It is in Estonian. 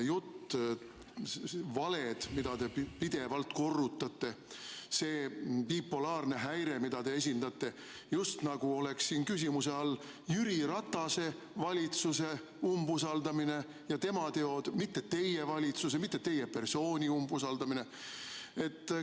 Ja need valed, mida te pidevalt korrutate, see bipolaarne häire, mida te esindate – just nagu oleks küsimuse all Jüri Ratase valitsuse umbusaldamine ja tema teod, mitte teie valitsuse, teie persooni umbusaldamine.